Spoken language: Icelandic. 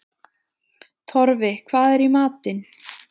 Torfi, hvað er í matinn?